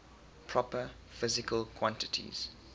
proper physical quantities